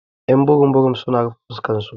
Y'an burum burum su na rufe fuskan su.